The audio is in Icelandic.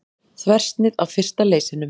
Þversnið af fyrsta leysinum.